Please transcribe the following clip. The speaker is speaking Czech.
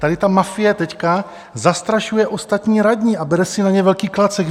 tady ta mafie teď zastrašuje ostatní radní a bere si na ně velký klacek.